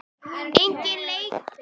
Enginn leikmenn sem við ætlum að fá?